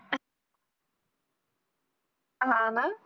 हाव ना